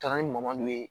Taara ni madu ye